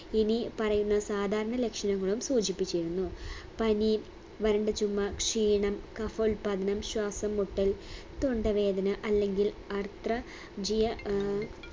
ഇനി പറയുന്ന സാധാരണ ലക്ഷണങ്ങളും സൂചിപ്പിച്ചിരുന്നു പനി വരണ്ട ചുമ ക്ഷീണം കഫോല്പാദനം ശ്വാസംമുട്ടൽ തൊണ്ടവേദന അല്ലെങ്കിൽ ആർത്ര ജിയ ആഹ്